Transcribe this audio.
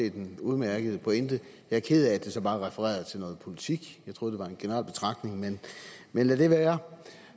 set en udmærket pointe jeg er ked af at det så bare refererede til noget politik jeg troede det var en generel betragtning men lad det være